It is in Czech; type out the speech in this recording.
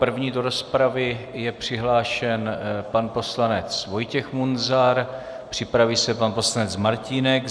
První do rozpravy je přihlášen pan poslanec Vojtěch Munzar, připraví se pan poslanec Martínek.